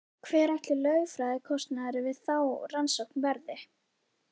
Hver ætli lögfræðikostnaðurinn við þá rannsókn verði?